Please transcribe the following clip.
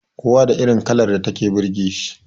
Kowa da irin kalar da take burge shi